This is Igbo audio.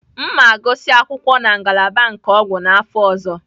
M ga-agụsị akwụkwọ na ngalaba nke ọgwụ n'afọ ọzọ.